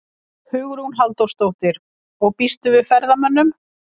Hugrún Halldórsdóttir: Og býstu við ferðamönnum?